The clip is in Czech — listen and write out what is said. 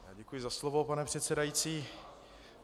Děkuji za slovo, pane předsedající.